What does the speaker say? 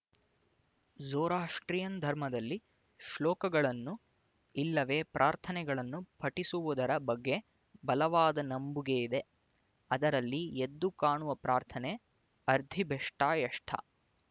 Zoroastrian ಧರ್ಮದಲ್ಲಿ ಶ್ಲೋಕಗಳನ್ನು ಇಲ್ಲವೆ ಪ್ರಾರ್ಥನೆಗಳನ್ನು ಪಠಿಸುವುದರ ಬಗ್ಗೆ ಬಲವಾದ ನಂಬುಗೆಯಿದೆ ಅದರಲ್ಲಿ ಎದ್ದು ಕಾಣುವ ಪ್ರಾರ್ಥನೆ ಅರ್ಧಿಬೆಸ್ಟಯಷ್ಟ